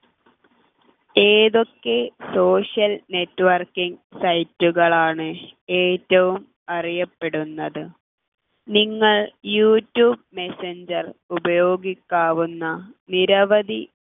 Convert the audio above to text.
ഏതൊക്കെ social network site കളാണ് ഏറ്റവും അറിയപ്പെടുന്നത് നിങ്ങൾ യൂട്യൂബ് മെസ്സഞ്ചർ ഉപയോഗിക്കാവുന്ന നിരവധി